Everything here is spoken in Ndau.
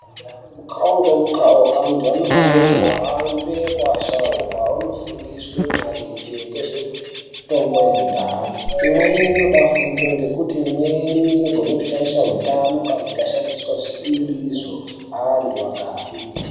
Mukavo ngemukavo antu anofanire kuhambe kuasharuka onofundiswe maringe ngezve mitombo yakudhaya. Imweni inoda fundo ngekuti imweni inogone kushaishe hutano kana ikashandise zvisiri izvo antu akafe.